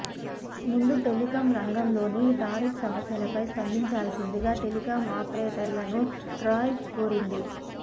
అంతకుముందు టెలికం రంగంలోని టారిఫ్ సమస్యలపై స్పందించాల్సిందిగా టెలికాం ఆపరేటర్లను ట్రాయ్ కోరింది